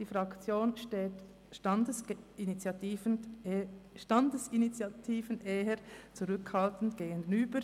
Die Fraktion steht Standesinitiativen eher zurückhaltend gegenüber.